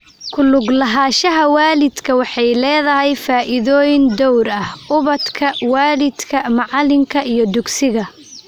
Ku lug lahaanshaha waalidku waxay leedahay faa'iidooyin dhowr ah ubadka, waalidka, macalinka, iyo dugsiga.